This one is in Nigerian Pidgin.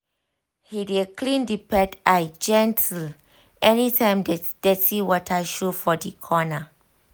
he dey clean the pet eye gently anytime dirty water show for the corner